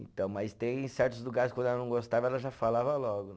Então, mas tem certos lugares que quando ela não gostava, ela já falava logo.